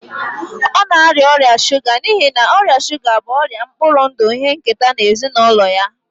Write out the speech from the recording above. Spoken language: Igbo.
Ọ na-arịa ọrịa shuga n'ihi na ọrịa shuga bụ ọrịa mkpụrụ ndụ ihe nketa na ezinụlọ ya